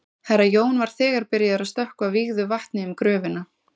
Herra Jón var þegar byrjaður að stökkva vígðu vatni um gröfina.